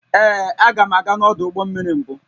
Ee, aga m aga n'ọdụ ụgbọ mmiri mbụ